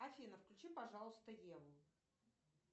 афина включи пожалуйста еву